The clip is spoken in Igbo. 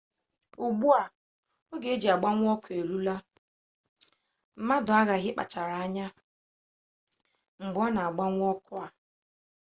ugbu a oge e ji agbanwe ọkụ a eruola mmadụ aghaghị ịkpachara anya mgbe ọ na-agbanwe ọkụ a